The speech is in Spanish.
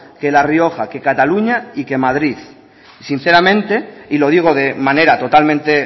que la rioja que cataluña y que madrid sinceramente y lo digo de manera totalmente